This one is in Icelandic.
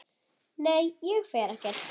Nei, ég fer ekkert.